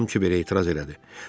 Ram Kiberə etiraz elədi.